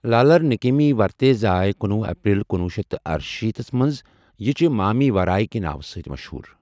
لالرنکیمی ورتے زأے کنوُہ اپریل کنوُہ شیتھ تہٕ ارشیٖتھس مَنٛز یہِ چھےٚ مامی وراے کی ناوٕ سۭتۍ مَشہوٗر۔